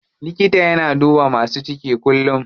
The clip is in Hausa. Likata yana duba masu ciki kullum.